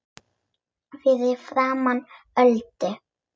Fyrir framan Öldu.